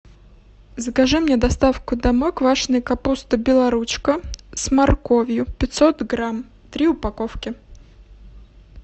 закажи мне доставку домой квашеной капусты белоручка с морковью пятьсот грамм три упаковки